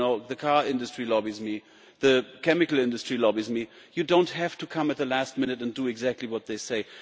The car industry lobbies me, the chemical industry lobbies me, and you do not have to come at the last minute and do exactly what they say.